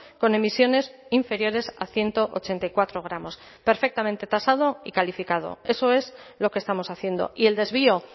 con emisiones inferiores a ciento ochenta y cuatro gramos perfectamente tasado y calificado eso es lo que estamos haciendo y el desvío